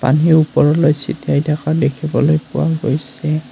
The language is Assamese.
পানী ওপৰলৈ চিটিয়াই থকা দেখিবলৈ পোৱা গৈছে।